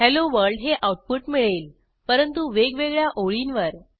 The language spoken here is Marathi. हेलोवर्ल्ड हे आऊटपुट मिळेल परंतु वेगवेगळ्या ओळींवर